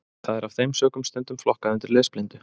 Það er af þeim sökum stundum flokkað undir lesblindu.